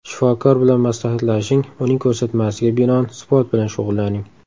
Shifokor bilan maslahatlashing, uning ko‘rsatmasiga binoan sport bilan shug‘ullaning.